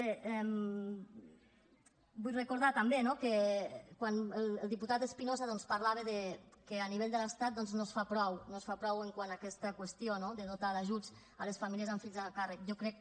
bé vull recordar també que quan el diputat espinosa doncs parlava que a nivell de l’estat no es fa prou no es fa prou quant a aquesta qüestió no de dotar d’ajuts a les famílies amb fills a càrrec jo crec